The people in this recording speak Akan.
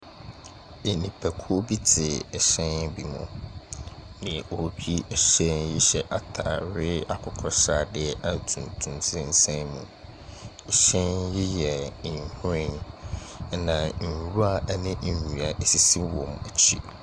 Enipa kuo bi te ɛhyɛn bi mu. Deɛ otwi ɛhyɛn yi hyɛ ataareɛ akokɔsradeɛ a tuntum sesɛn mu. Ɛhyɛn yi yɛ nhwiren ɛna nwura ne ndua esisi wɔn ekyi.